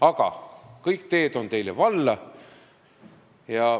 Aga kõik teed on teile valla.